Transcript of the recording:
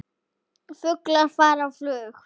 Fuglar fara á flug.